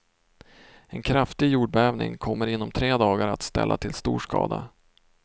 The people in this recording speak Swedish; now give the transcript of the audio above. En kraftig jordbävning kommer inom tre dagar att ställa till stor skada.